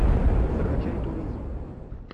закачай туризм